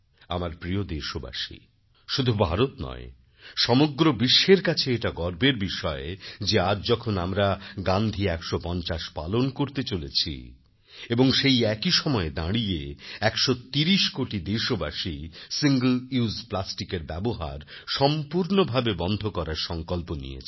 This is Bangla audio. আমার প্রিয় দেশবাসী শুধু ভারত নয় সমগ্র বিশ্বের কাছে এটা গর্বের বিষয় যে আজ যখন আমরা গান্ধী ১৫০ পালন করতে চলেছি এবং সেই একই সময়ে দাঁড়িয়ে ১৩০ কোটি দেশবাসী সিঙ্গল উসে Plasticএর ব্যবহার সম্পূর্ণভাবে বন্ধ করার সঙ্কল্প নিয়েছেন